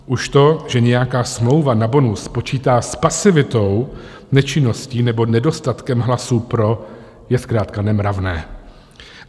Už to, že nějaká smlouva na bonus počítá s pasivitou, nečinností nebo nedostatkem hlasů pro, je zkrátka nemravné.